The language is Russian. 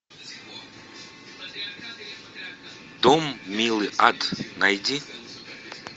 дом милый ад найди